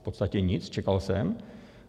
V podstatě nic, čekal jsem.